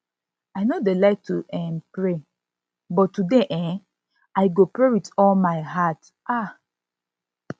i no dey like to um pray but today um i go pray with all my heart um